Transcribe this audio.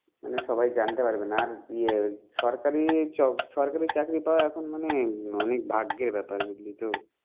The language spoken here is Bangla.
মানে সবাই জানতে পারবে না আর ইয়ে সরকারি চ~ সরকারি চাকরি পাওয়া এখন মানে অনেক ভাগ্যের ব্যাপার। বুঝলি তো?